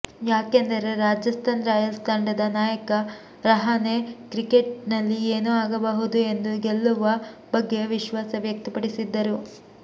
ಯಾಕೆಂದರೆ ರಾಜಸ್ಥಾನ್ ರಾಯಲ್ಸ್ ತಂಡದ ನಾಯಕ ರಹಾನೆ ಕ್ರಿಕೆಟ್ ನಲ್ಲಿ ಏನೂ ಆಗಬಹುದು ಎಂದು ಗೆಲ್ಲುವ ಬಗ್ಗೆ ವಿಶ್ವಾಸ ವ್ಯಕ್ತಪಡಿಸಿದ್ದರು